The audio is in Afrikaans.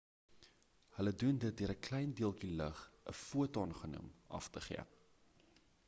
hulle doen dit deur ‘n klein deeltjie lig,’ ‘n foton genoem” af te gee